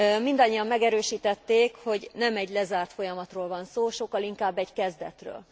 Mindannyian megerősítették, hogy nem egy lezárt folyamatról van szó, sokkal inkább egy kezdetről.